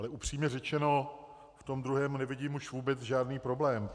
Ale upřímně řečeno v tom druhém nevidím už vůbec žádný problém.